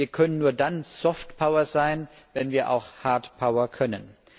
Wir können nur dann soft power sein, wenn wir auch hard power sein können.